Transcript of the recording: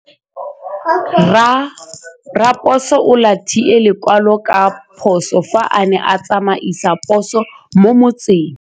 Raposo o latlhie lekwalô ka phosô fa a ne a tsamaisa poso mo motseng.